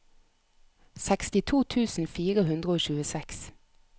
sekstito tusen fire hundre og tjueseks